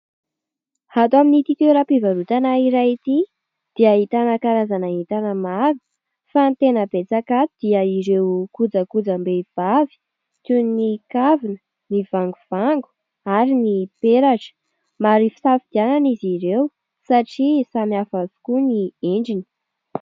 hato amin'iti toeram-pivarotana iray ity dia ahitana karazana entana maro fa ny tena betsaka ato dia ireo kojakojam-behivavy toy ny kavina ny vangovango ary ny peratra maro hisafidianana izy ireo satria samy hafavokoa ny endriny